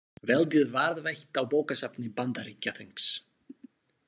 Veldið varðveitt á bókasafni Bandaríkjaþings